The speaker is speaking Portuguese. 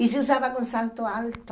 E se usava com salto alto.